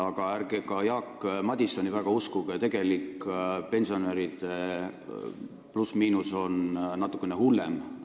Aga ärge Jaak Madisoni ka väga uskuge – need plussid ja miinused on pensionäride puhul natukene hullemad.